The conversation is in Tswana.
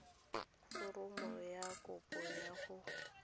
foromo ya kopo ya go